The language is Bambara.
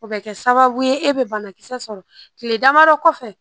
O bɛ kɛ sababu ye e bɛ banakisɛ sɔrɔ kile damadɔ kɔfɛ